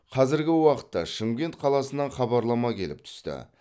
қазіргі уақытта шымкент қаласынан хабарлама келіп түсті